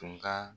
Tun ka